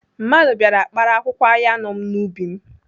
Mmadụ bịara kpara akwụkwọ ayan m n'ubi m.